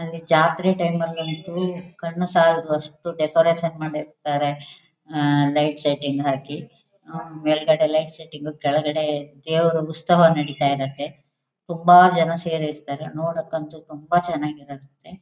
ಅಲ್ಲಿ ಜಾತ್ರೆ ಟೈಮ್ ನಾಲ್ ಅಂತೂ ಕಣ್ಣು ಸಾಲದು ಅಷ್ಟು ಡೆಕೋರೇಷನ್ ಮಾಡಿರ್ತ್ತಾರೆ ಆಹ್ಹ್ಹ್ ಲೈಟ್ ಸೆಟಿಂಗ್ ಹಾಕಿ ಹ್ಮ್ಮ್ ಮೇಲ್ಗಡೆ ಲೈಟ್ ಸೆಟಿಂಗ್ ಕೆಳಗಡೆ ದೇವರ ಉತ್ಸವ ನಡೀತ ಇರುತ್ತೆ ತುಂಬ ಜನ ಸೇರ್ ಇರ್ತ್ತರೆ ನೋಡಕಂತು ತುಂಬಾ ಚೆನ್ನಾಗಿ ಇರುತ್ತೆ.